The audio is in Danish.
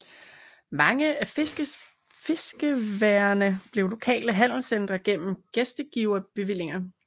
Mange af fiskeværene blev lokale handelscentre gennem gæstgiverbevillinger